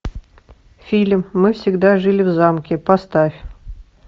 фильм мы всегда жили в замке поставь